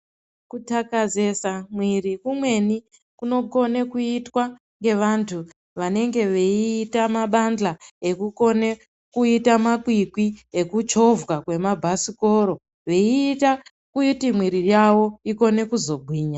Kutakazesa mwiri kumweni kunokone kuitwa ngevantu vanenge veiita mabandla ekukone kuita makwikwi ekuchovha kwema basikoro. Veiita kuti mwiri yavo ikone kuzogwinya.